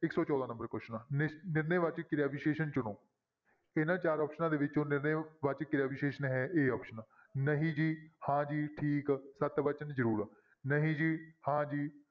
ਇੱਕ ਸੌ ਚੌਦਾਂ number question ਆ ਨਿ~ ਨਿਰਣੈ ਵਾਚਕ ਕਿਰਿਆ ਵਿਸ਼ੇਸ਼ਣ ਚੁਣੋ, ਇਹਨਾਂ ਚਾਰ ਆਪਸਨਾਂ ਦੇ ਵਿੱਚੋਂ ਨਿਰਣੈ ਵਾਚਕ ਕਿਰਿਆ ਵਿਸ਼ੇਸ਼ਣ ਹੈ a option ਨਹੀਂ ਜੀ, ਹਾਂ ਜੀ, ਠੀਕ, ਸਤ ਵਚਨ, ਜ਼ਰੂਰ, ਨਹੀਂ ਜੀ, ਹਾਂ ਜੀ,